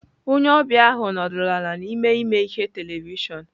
Onye ọbịa ahụ nọdụrụ ala n'ime ime ihe televịshịon.